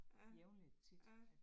Ja, ja